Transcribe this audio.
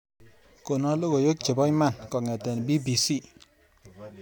Kono logoywek chebo iman kongete b.b.c